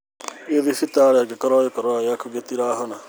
Thiĩ thibitarĩ angĩkorwo gĩkorora gĩtirahona